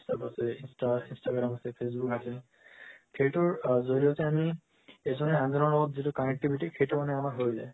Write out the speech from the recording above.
whatsapp insta instagram facebook সেইটোৰ জৰিয়তে আমি এজনে আজনৰ লগত যেটো connectivity সেইটো মানে হই যায়